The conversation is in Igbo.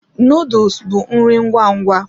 Nuduls bụ nri ngwa ngwa.